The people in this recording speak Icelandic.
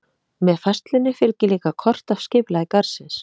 Með færslunni fylgir líka kort af skipulagi garðsins.